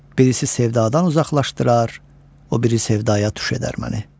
Birisi sevdadan uzaqlaşdırar, o biri sevdəyə tuş edər məni.